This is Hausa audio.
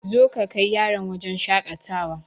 Zo ka kai yarona wajen shakatawa